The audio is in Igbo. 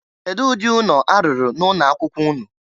Kedu ụdị ụnọ a rụrụ na ụnọ akwụkwọ ụnụ?